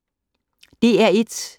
DR1